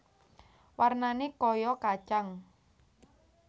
Warnané kaya kacang